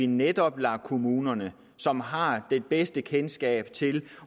netop lader kommunerne som har det bedste kendskab til